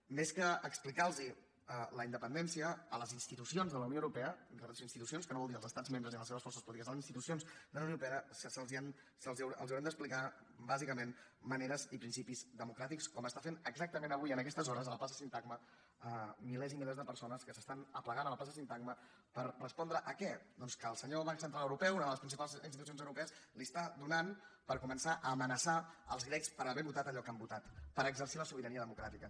més que explicar los la independència a les institucions de la unió europea a les institucions que no vol dir als estats membres ni a les seves forces polítiques a les institucions de la unió europea els haurem d’explicar bàsicament maneres i principis democràtics com ho estan fent exactament avui a aquestes hores a la plaça sintagma milers i milers de persones que s’estan aplegant a la plaça sintagma per respondre a què doncs que al senyor banc central europeu una de les principals institucions europees li està donant per començar a amenaçar els grecs per haver votat allò que han votat per exercir la sobirania democràtica